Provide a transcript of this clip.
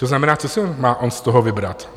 To znamená, co si má on z toho vybrat?